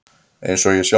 Eins og ég sjálfur.